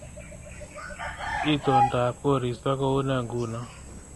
Itondap koristo koune nguno